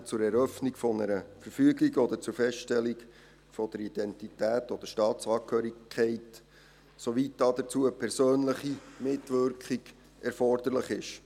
Diese kann zur Eröffnung einer Verfügung angeordnet werden oder zur Feststellung der Identität oder Staatsangehörigkeit, soweit dazu eine persönliche Mitwirkung erforderlich ist.